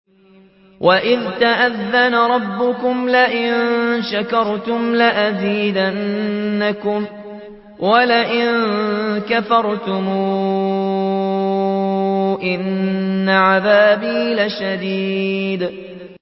وَإِذْ تَأَذَّنَ رَبُّكُمْ لَئِن شَكَرْتُمْ لَأَزِيدَنَّكُمْ ۖ وَلَئِن كَفَرْتُمْ إِنَّ عَذَابِي لَشَدِيدٌ